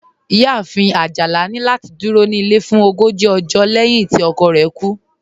Iyáàfin Ajálà ni lati dúró ní ilẹ̀ fún ògójì ọ̀jọ́ lẹ̀hin tí ọkọ̀ rẹ̀ kú